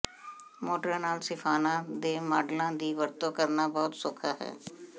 ਮੋਟਰਾਂ ਨਾਲ ਸਿਫਾਨਾਂ ਦੇ ਮਾਡਲਾਂ ਦੀ ਵਰਤੋਂ ਕਰਨਾ ਬਹੁਤ ਸੌਖਾ ਹੈ